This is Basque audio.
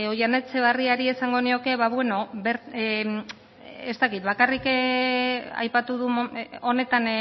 oihana etxebarrietari esango nioke ba bueno ez dakit bakarrik aipatu du honetan